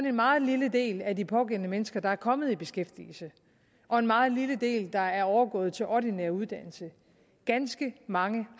en meget lille del af de pågældende mennesker der er kommet i beskæftigelse og en meget lille del der er overgået til ordinær uddannelse ganske mange